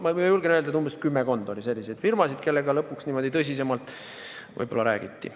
Ma julgen öelda, et kümmekond oli selliseid firmasid, kellega lõpuks tõsisemalt räägiti.